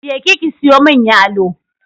Je ki ki siyo mun yalo!